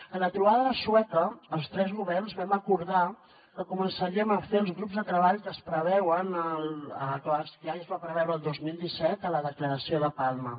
a la trobada de sueca els tres governs vam acordar que començaríem a fer els grups de treball que es preveuen que ja es van preveure el dos mil disset a la declaració de palma